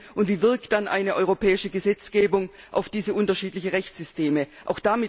Und wie wirkt sich dann eine europäische Gesetzgebung auf diese unterschiedlichen Rechtssysteme aus?